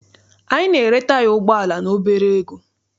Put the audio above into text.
Anyị na-ere taya ụgbọala n'obere ego.